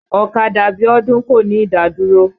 Ọ̀kadà Bíọ́dún kò ní ìdádúró.